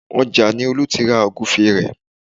Ọjà ni Olú ti ra Ògúfe rẹ̀